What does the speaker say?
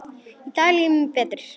Í dag líður mér betur.